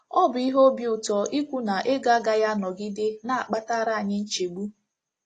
Ọ bụ ihe obi ụtọ ikwu na ego agaghị anọgide na - akpatara anyị nchegbu.